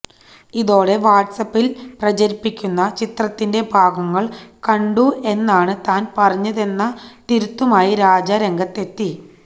ഇതോടെ വാട്സ് ആപില് പ്രചരിക്കുന്ന ചിത്രത്തിന്റെ ഭാഗങ്ങള് കണ്ടു എന്നാണ് താന് പറഞ്ഞതെന്ന തിരുത്തുമായി രാജ രംഗത്തെത്തി